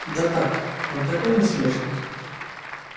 да так он такой насмешник